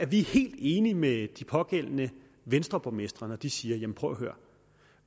vi helt enige med de pågældende venstreborgmestre når de siger prøv og hør